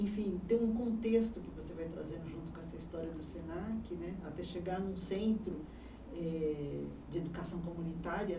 Enfim, tem um contexto que você vai trazendo junto com essa história do Senac né, até chegar num centro eh de educação comunitária.